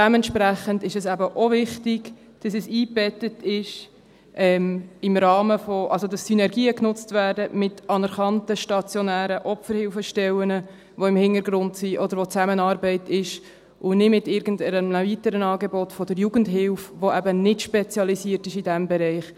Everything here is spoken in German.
Dementsprechend ist es eben auch wichtig, dass es in einen Rahmen eingebettet ist, dass Synergien mit anerkannten stationären Opferhilfestellen genutzt werden – die im Hintergrund sind oder mit denen eine Zusammenarbeit besteht – und nicht mit irgendeinem weiteren Angebot der Jugendhilfe, die eben nicht in diesem Bereich spezialisiert ist.